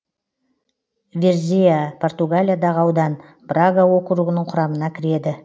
варзеа португалиядағы аудан брага округінің құрамына кіреді